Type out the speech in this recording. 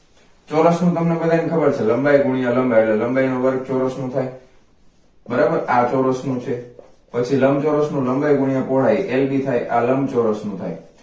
ચોરસનું તમને બધાયને ખબર છે લંબાઈ ગુણીયા લંબાઈ એટલે લંબાઈ નો વર્ગ ચોરસનો થાય બરાબર આ ચોરસ નું છે. પછી લંબચોરસ નું લંબાઈ ગુણીય પહોળાઈ lb થાય આ લંબચોરસ નું થાય